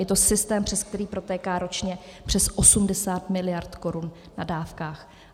Je to systém, přes který protéká ročně přes 80 mld. korun na dávkách.